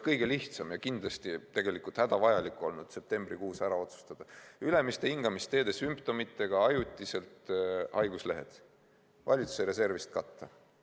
Kõige lihtsam ja kindlasti hädavajalik oleks olnud septembrikuus ära otsustada, et ülemiste hingamisteede haiguse sümptomitega võetud haiguslehed ajutiselt valitsuse reservist katta.